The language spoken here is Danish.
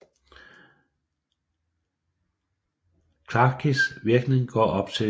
Klafkis virkning går op til i dag